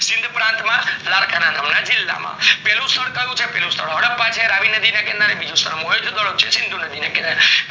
સિંધ પ્રાંત માં લડકા ના નામ ના જીલ્લા માં પેલું સ્થળ કયું છે હડપ્પા છે રવિ નદી ના કિનારે નીજુ સ્થળ છે મોહેન જો ડેરો છે સિંધુ નદી ના કિનારે